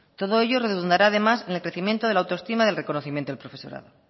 todo ello redundará además en el crecimiento de la autoestima del reconocimiento del profesorado